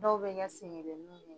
Dɔw bɛ kɛ seŋelenin ye